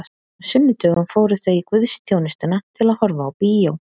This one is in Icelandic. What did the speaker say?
Á sunnudögum fóru þau í guðsþjónustuna til að horfa á bíó.